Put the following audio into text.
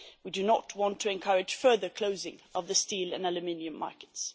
We do not want to encourage further closing of the steel and aluminium markets.